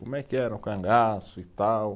Como é que era o cangaço e tal.